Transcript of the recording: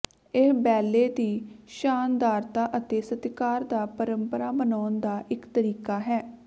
ਇਹ ਬੈਲੇ ਦੀ ਸ਼ਾਨਦਾਰਤਾ ਅਤੇ ਸਤਿਕਾਰ ਦਾ ਪਰੰਪਰਾ ਮਨਾਉਣ ਦਾ ਇੱਕ ਤਰੀਕਾ ਹੈ